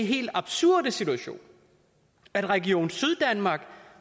helt absurde situation at region syddanmark